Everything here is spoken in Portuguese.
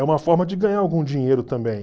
É uma forma de ganhar algum dinheiro também.